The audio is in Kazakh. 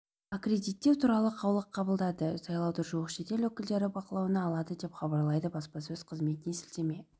аккредиттеу туралы қаулы қабылдады сайлауды жуық шетел өкілдері бақылауына алады деп хабарлайды баспасөз қызметіне сілтеме